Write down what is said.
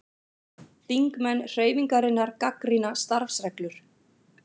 Þingmenn Hreyfingarinnar gagnrýna starfsreglur